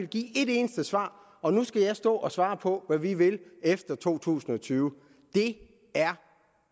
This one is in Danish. give et eneste svar og nu skal jeg stå og svare på hvad vi vil efter to tusind og tyve det er